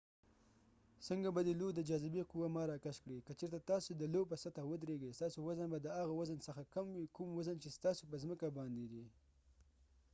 څنګه به دي لو د جا‌‌ ذبی قوه ما راکش کړي ؟ که چېرته تاسی د لو په سطحه ودرېږی ستاسې وزن به د هغه وزن څخه کم وي کوم وزن چې ستاسې په ځمکه باندي دي